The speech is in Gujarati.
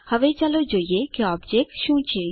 હવે ચાલો જોઈએ કે ઓબજેક્ટ શું છે